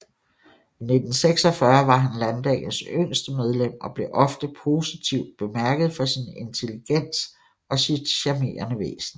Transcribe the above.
I 1946 var han Landdagens yngste medlem og blev ofte positivt bemærket for sin intelligens og sit charmerende væsen